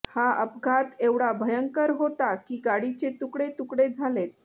हा अपघात एवढा भयंकर होता की गाडीचे तुकडे तुकडे झालेत